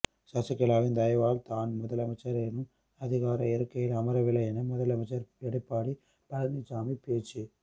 சசிகலாவின் தயவால் தான் முதலமைச்சர் எனும் அதிகார இருக்கையில் அமரவில்லை என முதலமைச்சர் எடப்பாடி பழனிசாமி பேச்சு